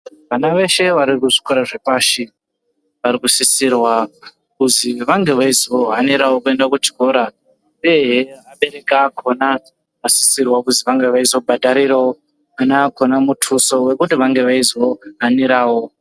Vana veshe vari kuzvikora zvepashi ,vari kusisirwa kuzi vange veizohanirawo kuenda kuchikora, uyehe abereki akhona akasisirwa kuzi vange veizobhadharirawo vana vakhona muthuso wekuti vange veizohanirawo.